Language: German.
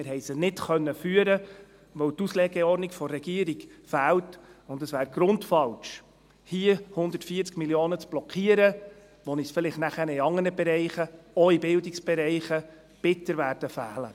Wir haben sie nicht führen können, weil die Auslegeordnung der Regierung fehlt, und es wäre grundfalsch, hier 140 Mio. Franken zu blockieren, die uns vielleicht nachher in anderen Bereichen, auch in Bildungsbereichen, bitter fehlen werden.